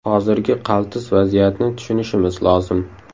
Hozirgi qaltis vaziyatni tushunishimiz lozim.